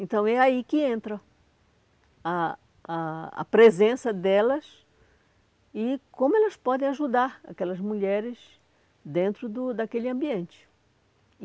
Então é aí que entra a a a presença delas e como elas podem ajudar aquelas mulheres dentro do daquele ambiente.